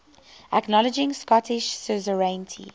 acknowledging scottish suzerainty